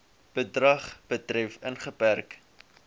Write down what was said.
gedrag betref ingeperk